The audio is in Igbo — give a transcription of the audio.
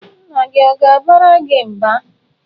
Nna gị ọ̀ ga-abara gị mba?